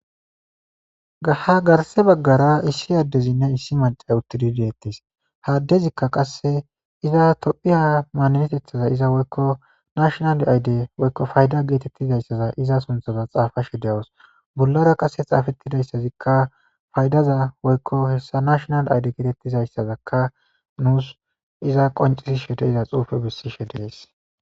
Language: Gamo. Gaha garse baggara issi addezinne issi macay uttidi deettis haaddezikka qasse iza tophiya maaninetethaza iza woykko nashonal ayde woykko fayda geetettizayssaza iza sunthaza xaafashe deyawus bollara qasse xaafettidayssazikka faydaza woykko hessa nashonal ayde geetettizayssazakka nuus iza qoncisi she de iza xuufe bissishe dees